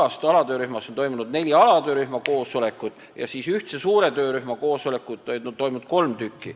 Seni on toimunud neli alatöörühma koosolekut ja kolm ühtse, suure töörühma koosolekut.